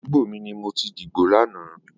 Adúgbó mi ni mó ti dibó làná